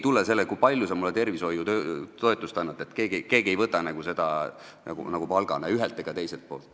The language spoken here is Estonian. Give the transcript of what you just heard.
Seda, kui palju sa tervishoiutoetust annad, ei võta keegi palgana ei ühelt ega teiselt poolt.